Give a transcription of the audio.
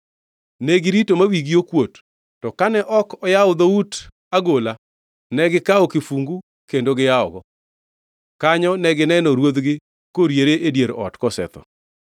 Negirito ma wigi okuot, to kane ok oyawo dhout agola, negikawo kifungu kendo giyawogi. Kanyo negineno ruodhgi koriere e dier ot, kosetho.